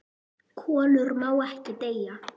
KOLUR MÁ EKKI DEYJA